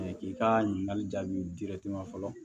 k'i ka ɲininkali jaabi dirɛti ma fɔlɔ